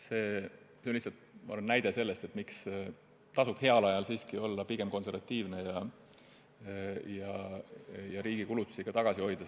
See on lihtsalt näide selle kohta, miks tasub heal ajal siiski pigem konservatiivne olla ja riigi kulutusi väiksena hoida.